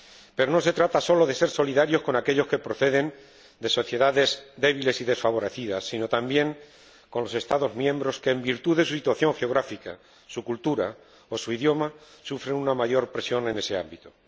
Pero no se trata sólo de ser solidarios con aquellos que proceden de sociedades débiles y desfavorecidas, sino también con los Estados miembros que, en virtud de su situación geográfica, su cultura o su idioma, sufren una mayor presión en ese ámbito.